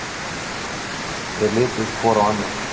Þeir litu hvor á annan.